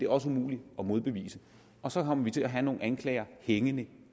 også umuligt at modbevise og så kommer vi til at have nogle anklager hængende